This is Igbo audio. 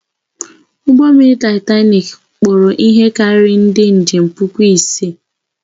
Ụgbọ mmiri Taịtanik kpọrọ ihe karịrị ndị njem puku ise.